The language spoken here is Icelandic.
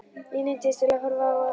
Ég neyddist til að horfa á.